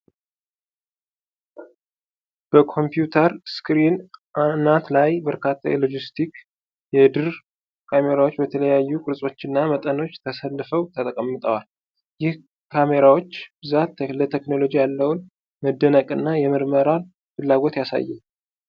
በኮምፒዩተር ስክሪን አናት ላይ በርካታ የሎጂቴክ የድር ካሜራዎች በተለያዩ ቅርጾችና መጠኖች ተሰልፈው ተቀምጠዋል። ይህ የካሜራዎች ብዛት ለቴክኖሎጂ ያለውን መደነቅ እና የምርመራን ፍላጎት ያሳያል።